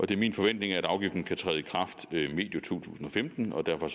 det er min forventning at afgiften kan træde i kraft medio to tusind og femten og derfor